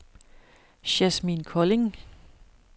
Yasmin Kolding